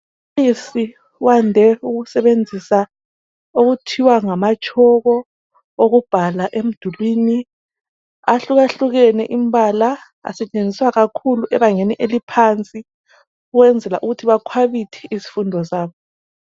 Umbalisi wande ukusebenzisa okuthiwa ngama tshoko, ukubhala emdulwini, ahlukahlukene imbala. Asetshenziswa kakhulu ebangeni eliphansi ,ukwenzela ukuthi bakhwabithe izifundo zabo